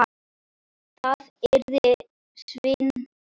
Það yrði svindl.